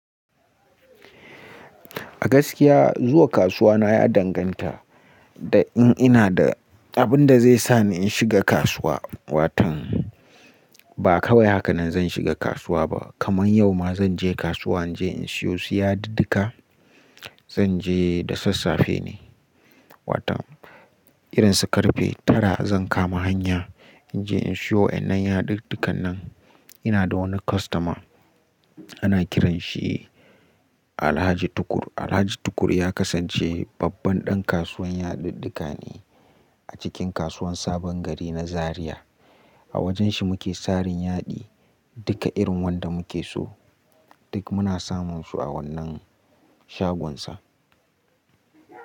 A gaskiya zuwa kasuwa na ya danganta da in ina da abin da zai sa ni in shiga kasuwa. Watan ba kawai haka nan zan shiga kasuwa ba, kaman yau ma zan je kasuwa in je in siyo su yadudduka. Zan je da sassafe ne. Watan irin su karfe tara zan kama hanya in je in siyo. A nan yaduddukan nan ina da wani kostoma ana kiran shi Alhaji Tukur. Alhaji Tukur ya kasance babban ɗan kasuwan yadudduka ne a cikin kasuwan Sabon Gari na Zariya. A wajen shi muke saran yaɗi. Duka irin wanda muke so duk muna samun su a wannan shagonsa.